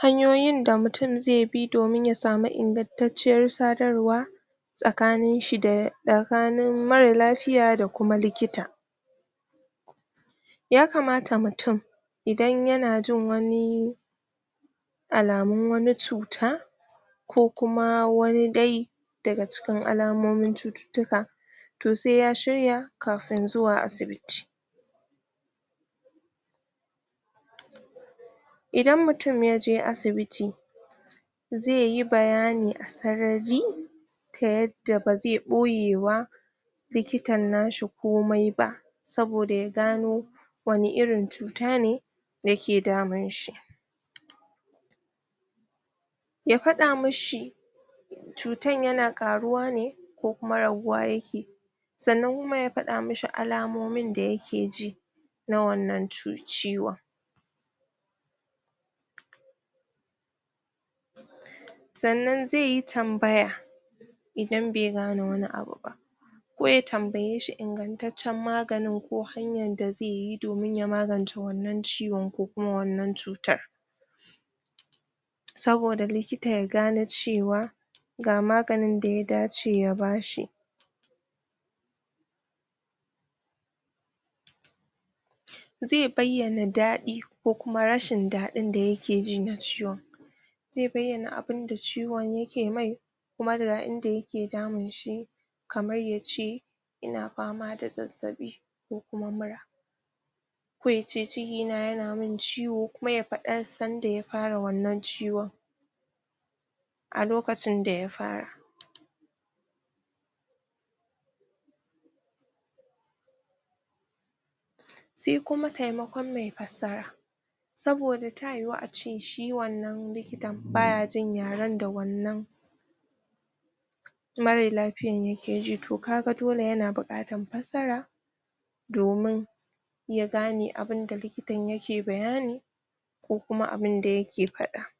hanyoyi da mutum zai bi domin ya samu ingantacciyar sadawar tsakanin shi da tsakannin mara lafiya da kuma likita ya kamata mutum idan ya na jin wani alamun wani cuta ko kuma wani dai daga cikin alamomin cututuka to sai ya shirya kafin zuwa asibiti idan mutum ya je asibiti zai yi bayani asarari da yadda ba zai boye ba likitan nashi komai ba soboda ya gano wane irin cuta ne da ke damin shi ya fada mishi cutan yana karuwa neko kuma rabuwa yake sannan kuma ya fada mi shi alamomin da ya ke ji na wannan ciwo sannan zai yi tambaya idan bai gane wani abu ba ko ya tambaye shi ingantacen maganin ko hanyan da zai yi domin ya maganta wannan ciwon ko kuma wannan cutar soboda likitaya gane cewa gamaganin da ya dace ya ba shi zai bayana dadi ko kuma rashin dadi da yaje ji na ciwon zai bayyana abin da ciwo ya ke mai kuma da ga in da ya ke damin shi kamar ya ce ina fama da zazzabi ku kuma mura ko ya ce ciki na yana ciwo kuma ya fada san da ya fara wannan ciwo a lokacin da ya fara sai kuma taimakon mai fasara soboda ta yuwa a ce shi wannan likitan ba ya jin yaren da wannan mara lafiyan yake ji toh ka ga dole ya na bukata fasara ya gane abin da likitan ya ke bayani ko kuma abin da ya ke fada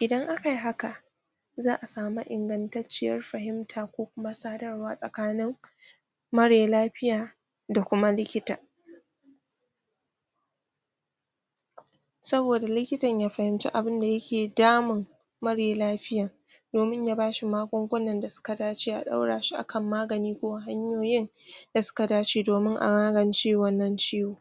idan aka yi haka a'a samu ingantaciyar fahimta ko kuma sadarwa tsakanin mare lafiya da kuma likita sobida likita ya fahimci abin da ya kedamin mare lafiyan domin ya bashi magunguna da su ka dace a daura shi a kan magani ko hanyoyin da suka dace domin a magance wannan ciwo